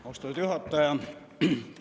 Austatud juhataja!